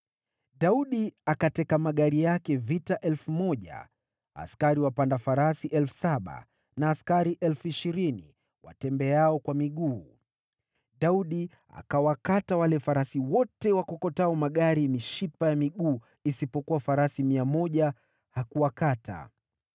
Daudi akateka magari yake ya vita 1,000, askari wapanda farasi 7,000 na askari 20,000 watembeao kwa miguu. Daudi akawakata wale farasi wote wakokotao magari mishipa ya miguu, isipokuwa farasi 100 hakuwakata.